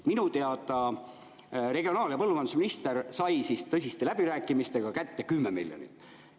Minu teada regionaal- ja põllumajandusminister sai tõsiste läbirääkimistega kätte 10 miljonit.